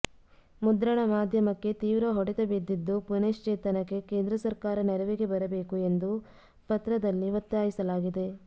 ಮುದ್ರಣ ಮಾಧ್ಯಮಕ್ಕೆ ತೀವ್ರ ಹೊಡೆತ ಬಿದ್ದಿದ್ದು ಪುನಶ್ಚೇತನಕ್ಕೆ ಕೇಂದ್ರ ಸರ್ಕಾರ ನೆರವಿಗೆ ಬರಬೇಕು ಎಂದು ಪತ್ರದಲ್ಲಿ ಒತ್ತಾಯಿಸಲಾಗಿದೆ